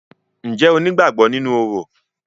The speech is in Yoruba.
Ǹjẹ́ o ní ìgbàgbọ nínú orò?